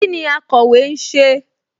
Kíni akọ̀wé ń ṣe?